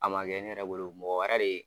A man kɛ ne yɛrɛ bolo mɔgɔ wɛrɛ de